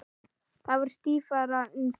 Þá er stífara undir.